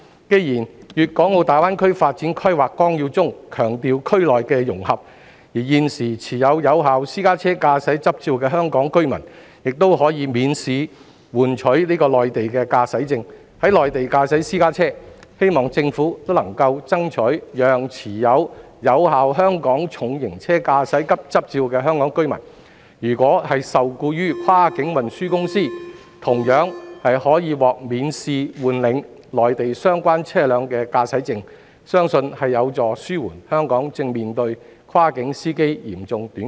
既然《粤港澳大灣區發展規劃綱要》中強調區內的融合，而現時持有有效私家車駕駛執照的香港居民，已可免試換領內地駕駛證，在內地駕駛私家車，我希望政府能夠爭取讓持有有效香港重型車駕駛執照的香港居民，如果受僱於跨境運輸公司，同樣可獲免試換領內地相關車輛的駕駛證，相信這有助紓緩香港正面對跨境司機嚴重短缺的問題。